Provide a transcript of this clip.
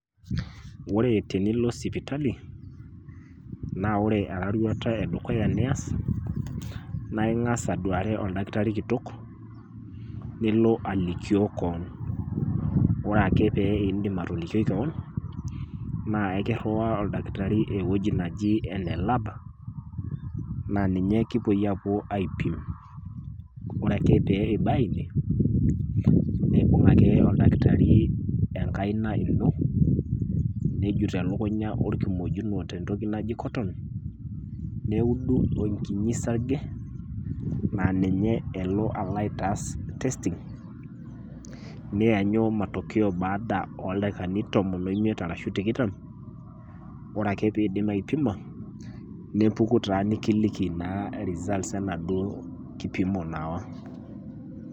Ore tenilo sipitali naa ore eraruata e dukuya nias naa ing'asa aduare oldakitari kitok nilo alikio koon. Ore ake pee iindim atolikioi koon, naa kiriwaa oldakitari ewoji naji ene lab, naa ninye kipuoi aapuo aipim. Kore ake pee ibaya ine nibung' ake oldakitari enkaina ino nejut elukunya orkimojino te ntoki naji [cs cotton neudu enkinyi sarge naa ninye elo aitaas testing, niyanyu matokeo baada ooldakikani tomon o imiet ashu tikitam, ore ake piindim aipima nepuku taa nekiliki results enaduo kipimo naawa.